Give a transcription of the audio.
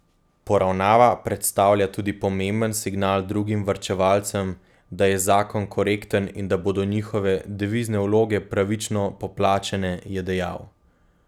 Poravnava predstavlja tudi pomemben signal drugim varčevalcem, da je zakon korekten in da bodo njihove devizne vloge pravično poplačane, je dejal.